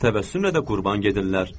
Təbəssümlə də qurban gedirlər.